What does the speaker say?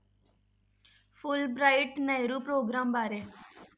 Fulbright Nehru programme ਬਾਰੇ